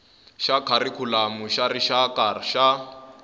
xa kharikhulamu xa rixaka xa